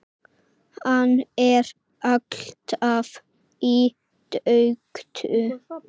Hann er alltaf í burtu.